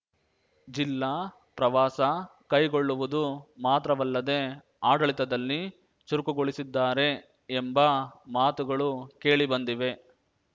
ಜಿಲ್ಲಾ ಪ್ರವಾಸ ಕೈಗೊಳ್ಳುವುದು ಮಾತ್ರವಲ್ಲದೇ ಆಡಳಿತದಲ್ಲಿ ಚುರುಕುಗೊಳಿಸಿದ್ದಾರೆ ಎಂಬ ಮಾತುಗಳು ಕೇಳಿಬಂದಿವೆ